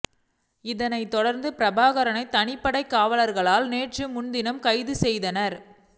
இதனைத் தொடர்ந்து பிரபாகரனை தனிப்படை காவலாளர்கள் நேற்று முன்தினம் கைது செய்தனர்